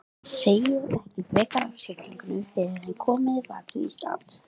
Segir ekki frekar af siglingunni fyrren komið var til Íslands.